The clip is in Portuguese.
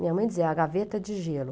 Minha mãe dizia, a gaveta de gelo.